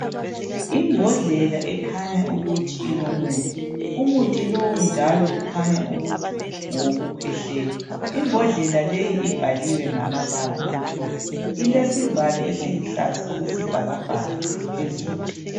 Imbodlela ekhanya ukuthi ilomuthi. Umuthi lowu njalo kukhanya ukuthi ngowokukhwehlela. Imbodlela leyi ibhaliwe ngamabala amhlophe. Ilesivalo esiluhlaza okwesibhakabhaka phezulu.